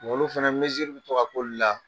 Olu fana i tito ka k'olu la?